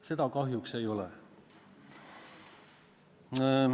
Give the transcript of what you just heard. Seda kahjuks ei ole.